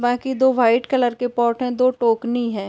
बाकि दो white colour के पॉट दो टोकनी हे।